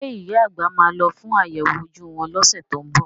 Ṣé ìyá àgbà máa lọ fún àyẹ̀wò ojú wọn lọ́sẹ̀ tó ń bọ̀?